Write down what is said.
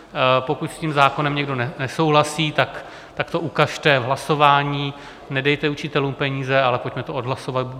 Pokud s tím zákonem někdo nesouhlasí, tak to ukažte v hlasování, nedejte učitelům peníze, ale pojďme to odhlasovat.